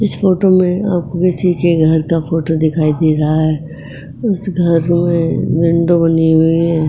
इस फोटो में आपको किसी के घर का फोटो दिखाई दे रहा है। इस घर में विंडो बनी हुई है।